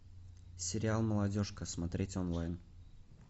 сериал молодежка смотреть онлайн